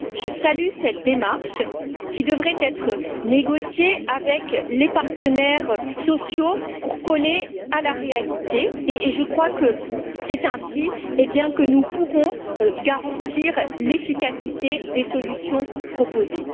Je salue cette démarche, qui devrait être négociée avec les partenaires sociaux pour coller à la réalité, car je crois que c'est ainsi que nous pourrons garantir l'efficacité des solutions proposées.